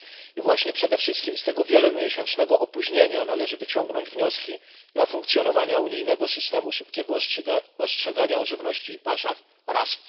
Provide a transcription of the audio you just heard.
I właśnie przede wszystkim z tego wielomiesięcznego opóźnienia należy wyciągnąć wnioski dla funkcjonowania unijnego systemu szybkiego ostrzegania o żywności i paszach RAS.